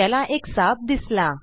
त्याला एक साप दिसला